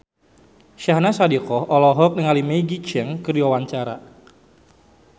Syahnaz Sadiqah olohok ningali Maggie Cheung keur diwawancara